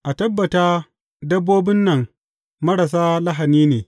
A tabbata dabbobin nan marasa lahani ne.